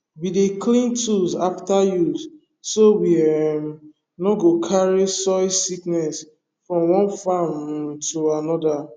we dey clean tools after use so we um no go carry soil sickness from one farm um to another